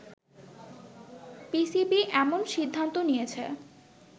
PCB এমন সিদ্ধান্ত নিয়েছে